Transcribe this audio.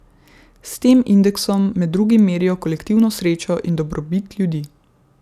S tem indeksom med drugim merijo kolektivno srečo in dobrobit ljudi.